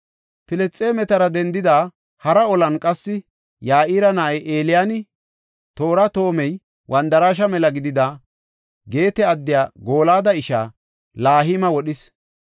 Filisxeemetara dendida hara olan qassi Ya7ira na7ay Eliyaani, toora toomay wandaraashe mela gidida, Geete addiya Gooliyada ishaa, Lahima wodhis.